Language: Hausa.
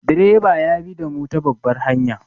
Direba ya bi damu ta babbar hanya.